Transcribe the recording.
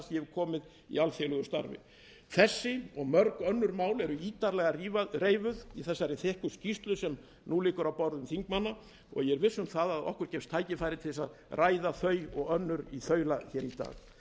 komið í alþjóðlegu starfi þessi og mörg önnur eru ítarlega reifuð í þessari þykku skýrslu sem nú liggur á borðum þingmanna ég er viss um að okkur gefst tækifæri til að ræða þau og önnur í þaula hér í dag ég vil svo